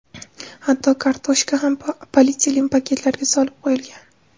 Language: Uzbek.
Hatto kartoshka ham polietilen paketlarga solib qo‘yilgan.